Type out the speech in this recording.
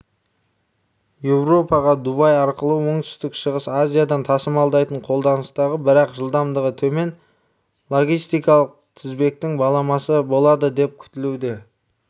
еуропаға дубай арқылы оңтүстік-шығыс азиядан тасымалдайтын қолданыстағы бірақ жылдамдығы төмен логистикалық тізбектің баламасы болады деп күтілуде